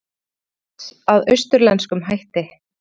Svínakjöt að austurlenskum hætti